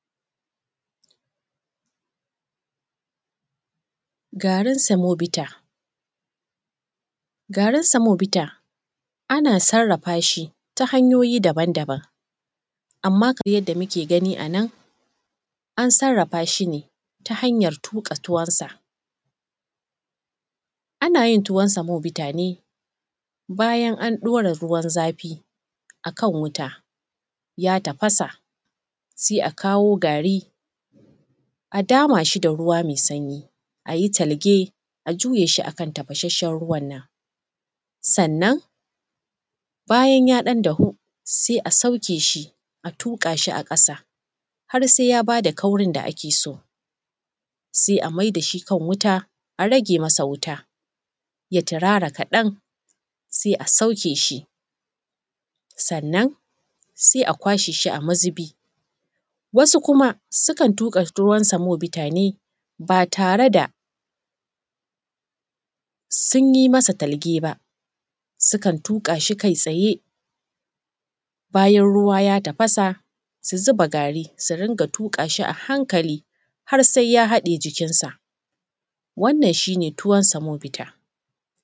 Gaarin samobita. Gaarin samobita ana sarrafa si ta hanyoyi daban-daban, amma kamar yadda muke gani anan an sarrafashi ne ta hanyar tuƙa tuwonsa, ana yin tuwon samobita ne bayan an ɗaura ruwan zafi akan wuta ya tafasa sai a kawo gari a damaa shi da ruwa mai sanyi a yi talge a juye shi akan tafashasshen ruwan nan. sannan bayan ya ɗan dahu sai a sauke shi a tuƙa shi a ƙasa har sai ya baa da kaurin da ake so, to sai a mai da shi kan wuta a rage masa wuta ya turaara kaɗan sai a sauke shi, sannan sai a kwashee shi a mazubi. Wasu kuma sukan tuƙa tuwon samobitaa ne ba tare da sun yi masa talge ba sukan tuƙaa shi kai tsaye bayan ruwa ya tafasa su zuba gaari su ringa tuƙaa shi a hankali har sai ya haɗee jikinsa, wannan shi ne tuwon samobita.